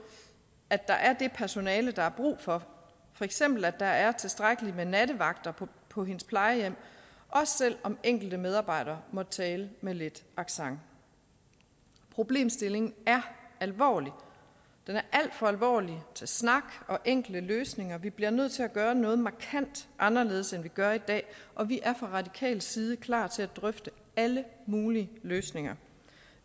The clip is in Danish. at der er det personale der er brug for for eksempel at der er tilstrækkelig med nattevagter på hendes plejehjem også selv om enkelte medarbejdere måtte tale med lidt accent problemstillingen er alvorlig den er alt for alvorlig til snak og enkle løsninger vi bliver nødt til at gøre noget markant anderledes end vi gør i dag og vi er fra radikal side klar til at drøfte alle mulige løsninger